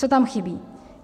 Co tam chybí?